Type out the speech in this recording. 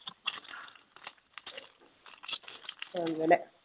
അങ്ങനെ